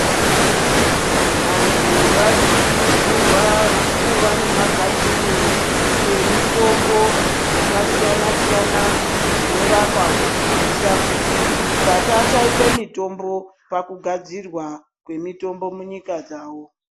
Vantu varikukuridzirwa kuva nemagadhini nemitombo dzakasiyana siyana dzinorapa kuitira kuti pasashaikwe mitombo pakugadzirwa kwemitombo munyika dzavo.